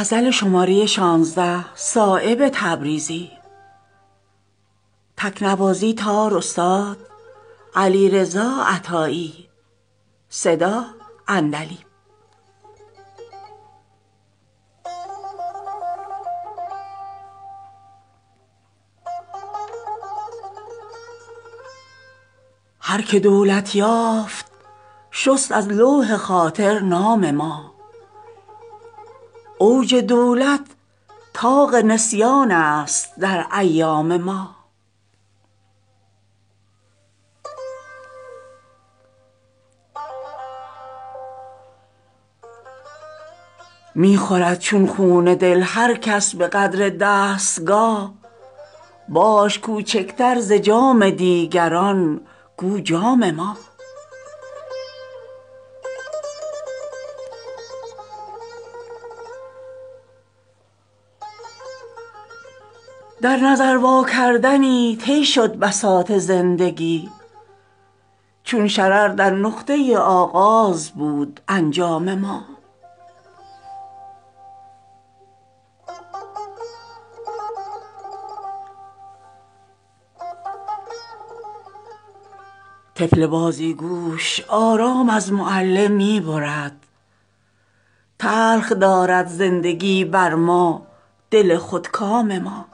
از نصیحت خامتر گردد دل خودکام ما از نمک سنگین شود خواب کباب خام ما هر که دولت یافت شست از لوح خاطر نام ما اوج دولت طاق نسیان است در ایام ما قسمت ما زین شکارستان به جز افسوس نیست دانه اشک تلخ می گردد به چشم دام ما مردمی گردیده است از چشم خوبان گوشه گیر چین ابرو مد انعام است در ایام ما می خورد چون خون دل هر کس به قدر دستگاه باش کوچکتر ز جام دیگران گو جام ما بوسه ما را کجا خواهد به آن لب راه داد آن که ره ندهد به گوش از سرکشی پیغام ما از دعای خیر ما شکر به کارش می کنیم هر که می سازد دهانی تلخ از دشنام ما در نظر واکردنی طی شد بساط زندگی چون شرر در نقطه آغاز بود انجام ما بر دل آزاده ما باغ امکان تنگ بود چشم تنگ قمریان چون سرو داد اندام ما حسن ماند از خیره چشمی های ما زیر نقاب شد در امیدواری بسته از ابرام ما در بلا انداخت جمعیت دل آزاده را فلس ما چون ماهیان گردید آخر دام ما طفل بازیگوش آرام از معلم می برد تلخ دارد زندگی بر ما دل خودکام ما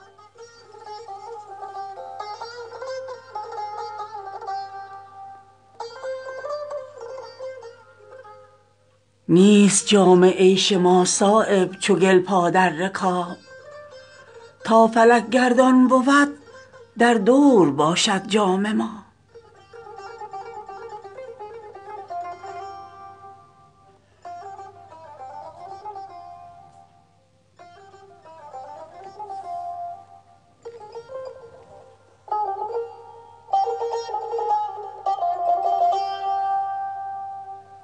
نیست صایب جام عیش ما چو گل پا در رکاب تا فلک گردان بود در دور باشد جام ما